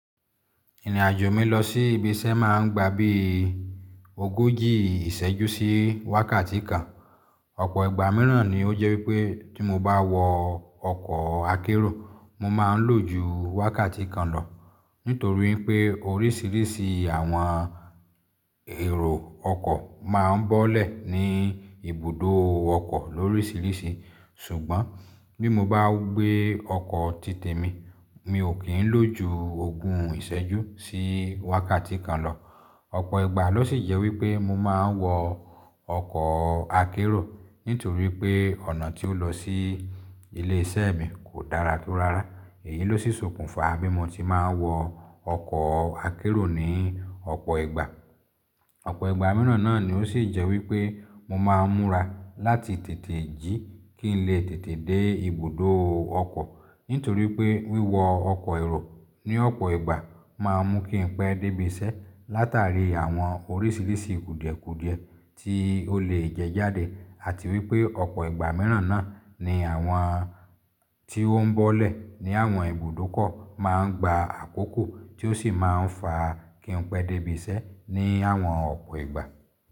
Ìrìn àjò mi lọ sí ibi iṣẹ́ máa ń gba bí ogójì ìṣẹ́jú sí wákàtí kan. Ọ̀pọ̀ ìgbà mìíràn ni ó jẹ́ wípé tí mo bá wọ ọkọ̀ akérò, mo máa ń lò ju wákàtí kan lọ nítorí pé oríṣìíríṣìí àwọn èrò ọkọ̀ máa ń bọ́lẹ̀ ní ibùdó ọkọ̀ lóríṣìíríṣìí. Ṣùgbọ́n bí mo bá gbé ọkọ̀ títè mi, mi ò kí ń lò ju ogún ìṣẹ́jú sí wákàtí kan lọ. Ọ̀pọ̀ ìgbà ló ṣì jẹ́ wípé mo máa ń wọ ọkọ̀ akérò nítorí pé ọ̀nà tí ó lọ sí ilé iṣẹ́ mi kò dára tó rárá. Èyí ló ṣi ṣókùnfà bí mo ti máa ń wọ ọkọ̀ akérò ní ọ̀pọ̀ ìgbà. Ọ̀pọ̀ ìgbà mìíràn náà ni ó sì jẹ́ wípé, mo máa ń múra láti tètè jí kí n lè tètè dé ibùdó ọkọ̀ nítorí pé wíwọ ọkọ̀ èrò ní ọ̀pọ̀ ìgbà máa ń mú kí n pẹ́ dé ibi iṣẹ́ látàrí àwọn oríṣìíríṣìí kùdìẹ̀kùdìẹ tí ó lè jẹ jáde àti wípé ọ̀pọ̀ ìgbà mìíràn náà ni àwọn tí ó ń bọ́lẹ̀ ní àwọn ibùdó kọ̀ máa ń gba àkókò tí ó sì máa ń fa kí n pẹ́ dé ibi iṣẹ́ ní àwọn ọ̀pọ̀ ìgbà.